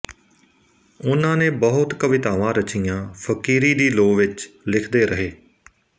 ਉਨ੍ਹਾਂ ਨੇ ਬਹੁਤ ਕਵਿਤਾਵਾਂ ਰਚੀਆਂ ਫ਼ਕੀਰੀ ਦੀ ਲੋਅ ਵਿਚ ਲਿਖਦੇ ਰਹੇ